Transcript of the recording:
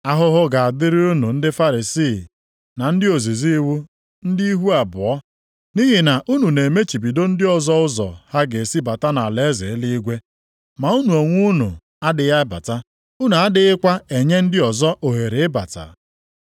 “Ahụhụ ga-adịrị unu ndị Farisii na ndị ozizi iwu, ndị ihu abụọ! Nʼihi na unu na-emechibido ndị ọzọ ụzọ ha ga-esi bata nʼalaeze eluigwe, ma unu onwe unu adịghị abata. Unu adịghịkwa enye ndị ọzọ ohere ịbata.